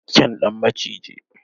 Kyan dan maciji.